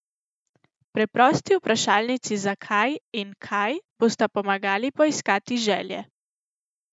Preprosti vprašalnici zakaj in kaj bosta pomagali poiskati želje.